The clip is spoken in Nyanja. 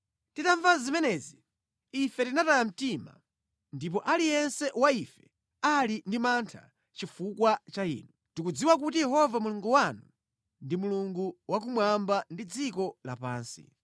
Titamva zimenezi, ife tinataya mtima ndipo aliyense wa ife ali ndi mantha chifukwa cha inu. Tikudziwa kuti Yehova Mulungu wanu ndi Mulungu wa kumwamba ndi dziko lapansi.